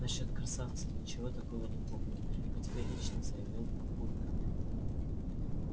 насчёт красавца ничего такого не помню категорично заявил папулька